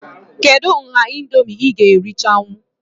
Kedụ nha Indomie ị ga erichanwu?